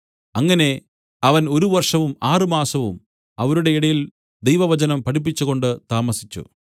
അങ്ങനെ അവൻ ഒരു വർഷവും ആറുമാസവും അവരുടെ ഇടയിൽ ദൈവവചനം പഠിപ്പിച്ചുകൊണ്ട് താമസിച്ചു